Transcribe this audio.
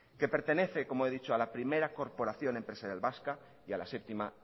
que pertenece como he dicho a la primera corporación empresarial vasca y a la séptima